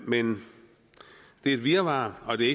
men det er et virvar og det